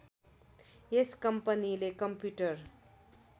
यस कम्पनीले कम्प्युटर